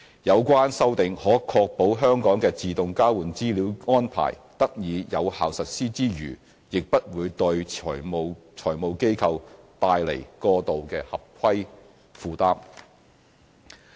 有關修訂可確保香港的自動交換資料安排得以有效實施之餘，亦不會對財務機構帶來過度的合規負擔。